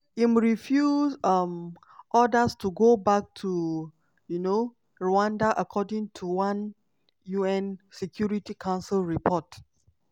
im refuse um orders to go back to um rwanda according to one un security council report.